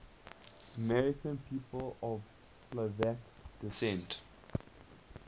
american people of slovak descent